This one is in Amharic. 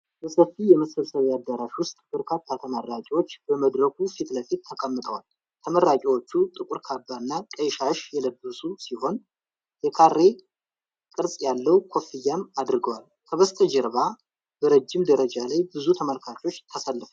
በሰፊ የመሰብሰቢያ አዳራሽ ውስጥ፣ በርካታ ተመራቂዎች በመድረኩ ፊት ለፊት ተቀምጠዋል። ተመራቂዎቹ ጥቁር ካባ እና ቀይ ሻሽ የለበሱ ሲሆን፣ የካሬ ቅርጽ ያለው ኮፍያም አድርገዋል። ከበስተጀርባ በረጅም ደረጃ ላይ ብዙ ተመልካቾች ተሰልፈዋል።